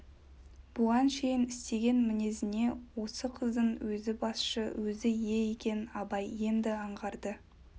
бұған шейін істеген мінезіне осы қыздың өзі басшы өзі ие екенін абай енді аңғарды